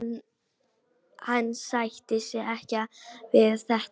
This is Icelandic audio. Hann sætti sig ekki við þetta.